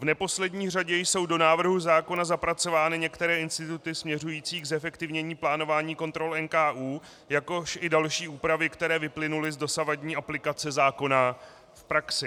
V neposlední řadě jsou do návrhu zákona zapracovány některé instituty směřující k zefektivnění plánování kontrol NKÚ, jakož i další úpravy, které vyplynuly z dosavadní aplikace zákona v praxi.